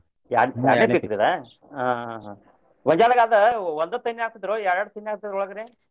ಎರಡ್ ಹಾ ಗೊಂಜ್ಯಾಳದಾಗ ಒಂದ ತೆನಿ ಅಕ್ಕೆತ್ರ್ಯೋ ಎರಡ್ ತೆನಿ ಅಕ್ಕೆತ್ರ್ಯೋ ಅದರೊಲ್ಗಡೆ.